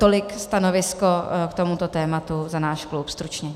Tolik stanovisko k tomuto tématu za náš klub stručně.